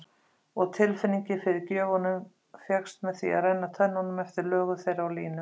Og tilfinningin fyrir gjöfunum fékkst með því að renna tönnunum eftir lögun þeirra og línum.